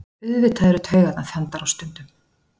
Auðvitað eru taugarnar þandar á stundum